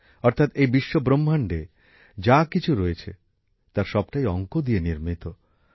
অর্থাৎ এই বিশ্বব্রহ্মাণ্ডে যা কিছু রয়েছে তার সবটাই অংক দিয়ে নির্মিত